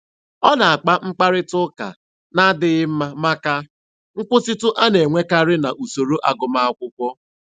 Ọ na-akpa mkparita ụka na-adịghị mma maka nkwụsịtụ a na-enwekarị na usoro agụmakwụkwọ.